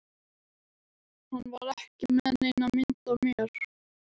Hann var ekki með neina mynd af mér